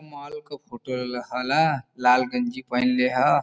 Mall क photo लेले हला। लाल गंजी पहिनले ह।